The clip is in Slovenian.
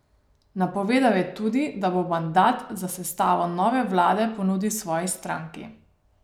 Napovedal je tudi, da bo mandat za sestavo nove vlade ponudil svoji stranki.